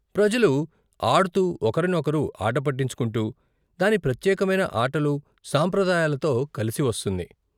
ప్రజలు, ఆడుతూ ఒకరిని ఒకరు ఆట పట్టించుకుంటూ, దాని ప్రత్యేకమైన ఆటలు, సాంప్రదాయాలతో కలిసి వస్తుంది.